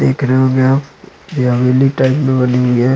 --देख रहे होगे आप ये हवेली टाइप में बनी हुई है।